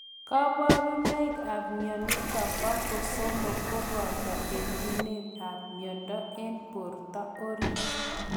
kabarunaik ap mionitok po kosomok kobotoo etunet ap miondoo eng portoo oriit.